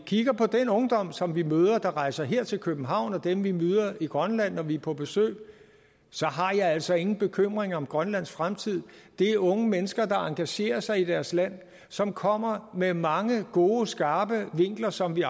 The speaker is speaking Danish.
kigger på den ungdom som vi møder dem der rejser her til københavn og dem vi møder i grønland når vi er på besøg så har jeg altså ingen bekymringer for grønlands fremtid det er unge mennesker der engagerer sig i deres land som kommer med mange gode skarpe vinkler som vi